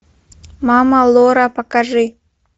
мама лора покажи